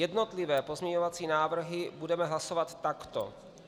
Jednotlivé pozměňovací návrhy budeme hlasovat takto.